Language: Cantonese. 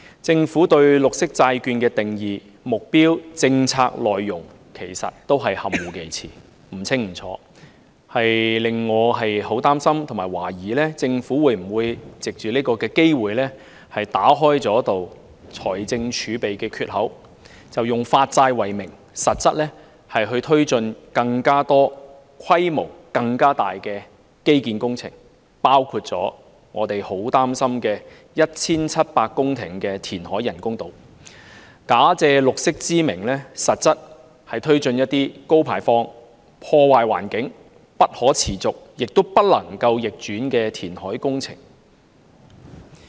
政府對綠色債券的定義、目標和政策內容含糊其詞，不清不楚，令我很擔心和懷疑政府會否藉此機會打開財政儲備的缺口，以發債為名，實質推展更多且規模更大的基建工程，包括我們很擔心的 1,700 公頃人工島填海工程，假借綠色之名，實質推展一些高排放、破壞環境、不可持續亦不能逆轉的填海工程。